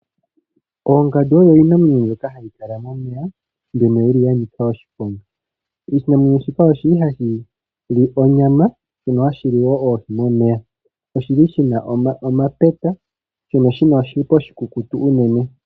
Oongandu oyo iinamwenyo mbyoka ha yi kala momeya mbyono yi li ya nika oshiponga. Oshinamwenyo shika oshi li ha shi li onyama shono shi li wo hashi li oohi momeya. Oshi li shina omapeta shono shina oshipa oshikukutu unene.